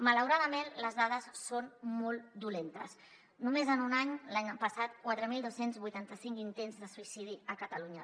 malauradament les dades són molt dolentes només en un any l’any passat quatre mil dos cents i vuitanta cinc intents de suïcidi a catalunya